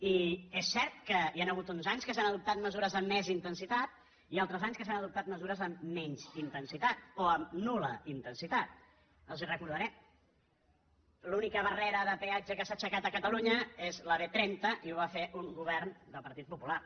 i és cert que hi han hagut uns anys que s’han adoptat mesures de més intensitat i altres anys que s’han adoptat mesures amb menys intensitat o amb nulpeatge que s’ha aixecat a catalunya és a la b trenta i ho a fer un govern del partit popular